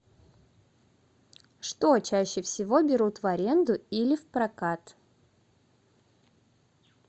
что чаще всего берут в аренду или в прокат